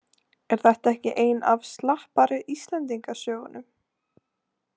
Er þetta ekki ein af slappari Íslendingasögunum?